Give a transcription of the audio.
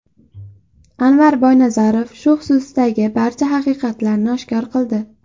Anvar Boynazarov shu xususdagi barcha haqiqatlarni oshkor qildi.